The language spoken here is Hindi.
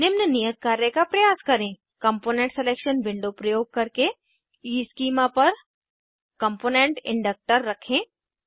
निम्न नियत कार्य का प्रयास करें कम्पोनेंट सिलेक्शन विंडो प्रयोग करके ईस्कीमा पर कम्पोनेंट इंडक्टर रखें